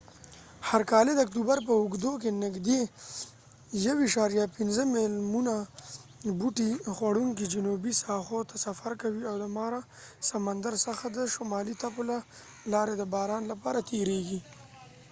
هر کالد اکتوبر په اوږدو کې نږدې 1.5 میلیونه بوټي خوړونکي جنوبي ساحو ته سفر کوي او د مارا سمندر څخه د شمالي تپو له لارې د باران لپاره تیرېږي